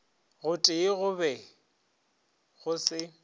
gotee go be go se